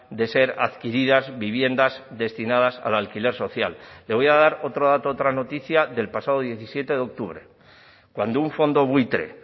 de ser adquiridas viviendas destinadas al alquiler social le voy a dar otro dato otra noticia del pasado diecisiete de octubre cuando un fondo buitre